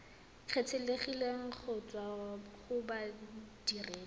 kgethegileng go tswa go bodiredi